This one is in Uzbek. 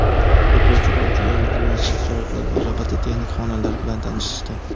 o‘quvchilar uchun yaratilgan shart-sharoitlar va robototexnika xonalari bilan tanishishdi.